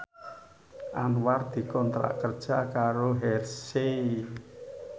Anwar dikontrak kerja karo Hershey